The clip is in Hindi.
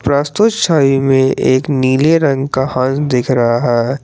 वास्तु शाही में एक नीले रंग का हाथ दिख रहा है।